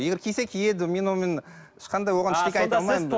егер кисе киеді мен онымен ешқандай оған ештеңе айта алмаймын